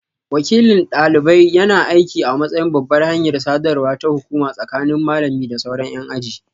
Wakilin dalibai yana aiki a matsayin babbar hanyar sadarwa ta hukuma tsakanin malami da sauran yan aji.